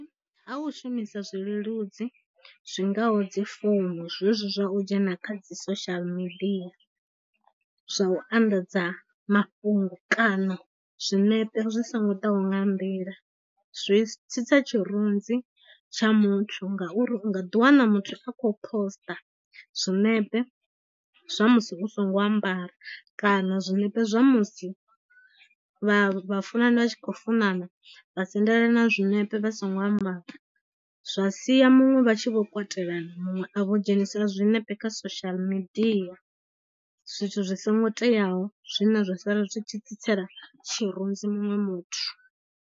Ha u shumisa zwileludzi zwingaho dzifomo, zwe zwi zwa u dzhena kha dzi social media zwa u anḓadza mafhungo, kana zwinepe zwi songo ḓaho nga nḓila zwi tsitsa tshirunzi tsha muthu ngauri, u nga ḓi wana muthu a khou post zwinepe zwa musi u songo ambara kana zwinepe zwa musi vha funani vha tshi khou funana vha sendela na zwiṋepe vha songo ambara, zwa sia muṅwe vha tshi vho kwatelana muṅwe a vho dzhenisa zwinepe kha social media, zwithu zwi songo teaho zwine zwa sala zwi tshi tsitsela tshirunzi muṅwe muthu.